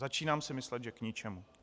Začínám si myslet, že k ničemu.